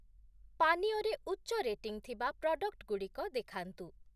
ପାନୀୟ ରେ ଉଚ୍ଚ ରେଟିଂ ଥିବା ପ୍ରଡ଼କ୍ଟ୍‌ଗୁଡ଼ିକ ଦେଖାନ୍ତୁ ।